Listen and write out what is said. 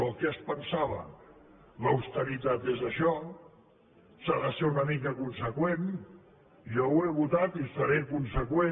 oh què es pensava l’austeritat és això s’ha de ser una mica conseqüent jo ho he votat i seré conseqüent